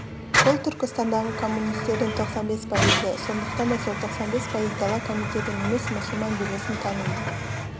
бұл түркістандағы коммунистердің тоқсан бес пайызы сондықтан да сол тоқсан бес пайыз дала комитетін емес мұсылман бюросын таниды